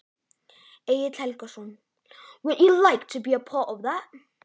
Egill Helgason: Mundir þú vilja vera með í svoleiðis?